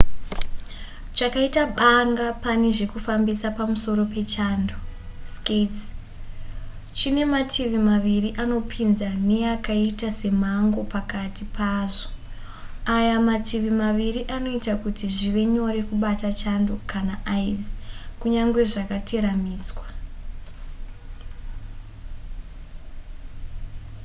chakaita banga pane zvekufambisa pamusoro pechando skates chine mativi maviri anopinza neyakaita semhango pakati pazvo. aya mativi maviri anoita kuti zvive nyore kubata chando kana aizi kunyangwe zvakateramiswa